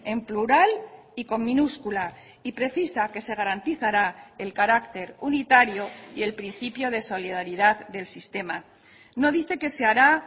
en plural y con minúscula y precisa que se garantizará el carácter unitario y el principio de solidaridad del sistema no dice que se hará